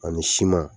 Ani siman